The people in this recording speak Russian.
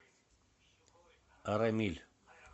арамиль